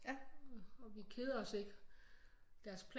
Og vi keder os ikke deres